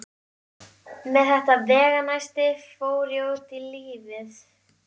Með þetta veganesti fór ég út í lífið.